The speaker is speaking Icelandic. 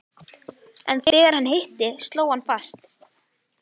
En þegar hann hitti, sló hann fast.